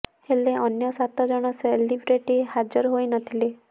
ହେଲେ ଅନ୍ୟ ସାତ ଜଣ ସେଲିବ୍ରିଟି ହାଜର ହୋଇ ନ ଥିଲେ